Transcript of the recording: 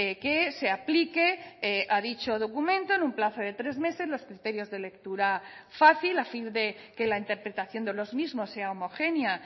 que se aplique a dicho documento en un plazo de tres meses los criterios de lectura fácil a fin de que la interpretación de los mismos sea homogénea